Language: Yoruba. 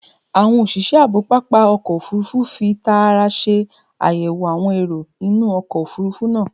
Awọn oṣiṣẹ aabo papa ọkọ ofurufu fi taara ṣe ayẹwo awọn ero inu ọkọ ofurufu naa